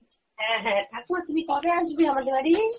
হ্যাঁ হ্যাঁ ঠাকুমা তুমি কবে আসবে আমাদের বাড়ি?